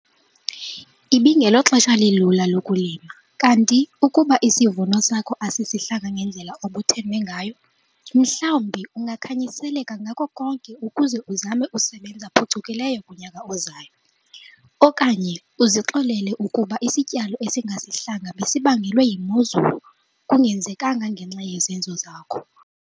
Ibingeloxesha lilula lokulima kanti ukuba isivuno sakho asisihlanga ngendlela obuthembe ngayo, mhlawumbi ungakhanyiseleka ngako konke ukuze uzame ukusebenza phucukileyo kunyaka ozayo, okanye uzixolele ukuba isityalo esingesihlanga besibangelwe yimozulu, kungenzekanga ngenxa yezenzo zakho.